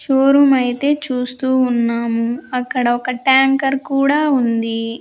Showroom అయితే చూస్తూ ఉన్నాము అక్కడ ఒక టాంకర్ కూడా ఉంది.